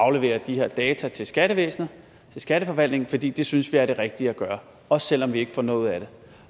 aflevere de her data til skattevæsenet til skatteforvaltningen fordi de synes det er det rigtige at gøre også selv om de ikke får noget ud af det